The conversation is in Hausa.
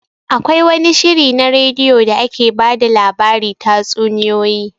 Akwai wani shiri na radio da ake ba da labari tatsuniyoyi